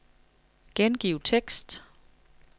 Gengiv tekst.